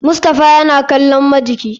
Mustapha yana kallon majiki.